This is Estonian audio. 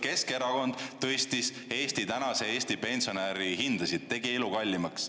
Keskerakond tõstis tänase Eesti pensionäri hindasid, tegi elu kallimaks.